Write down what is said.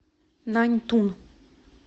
наньтун